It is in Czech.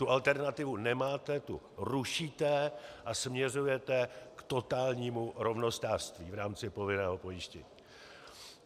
Tu alternativu nemáte, tu rušíte a směřujete k totálnímu rovnostářství v rámci povinného pojištění.